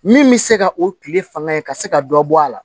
Min bɛ se ka o tile fanga ka se ka dɔ bɔ a la